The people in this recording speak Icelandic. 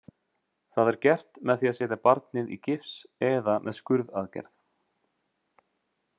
Það er gert með því að setja barnið í gifs eða með skurðaðgerð.